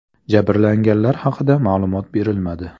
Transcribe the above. Jabrlanganlar haqida ma’lumot berilmadi.